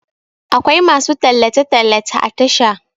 akwai masu tallace - tallace a Tasha